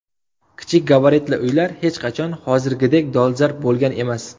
Kichik gabaritli uylar hech qachon hozirgidek dolzarb bo‘lgan emas.